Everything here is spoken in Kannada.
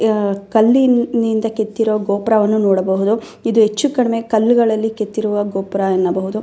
ಯಾ ಕಲ್ಲಿನಿಂದ ಕೆತ್ತಿರುವ ಗೋಪುರ ವನ್ನು ನೋಡಬಹುದು . ಇದು ಹೆಚ್ಚು ಕಡಿಮೆ ಕಲ್ಲುಗಳಲ್ಲಿ ಕೆತ್ತಿರುವ ಗೋಪುರ ಎನ್ನಬಹುದು.